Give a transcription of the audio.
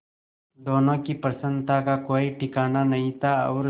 दोनों की प्रसन्नता का कोई ठिकाना नहीं था और